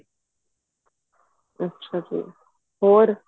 ਅੱਛਾ ਜੀ ਹੋਰ